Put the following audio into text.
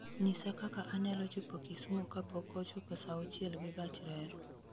nyisa kaka anyalo chopo kisumu kapok ochopo sauchiel gi gach reru